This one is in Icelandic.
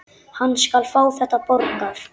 Hann skal fá þetta borgað!